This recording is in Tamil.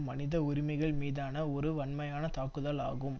மனித உரிமைகள் மீதான ஒரு வன்மையான தாக்குதலாகும்